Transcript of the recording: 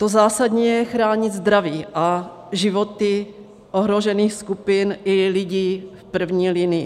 To zásadní je chránit zdraví a životy ohrožených skupin i lidí v první linii.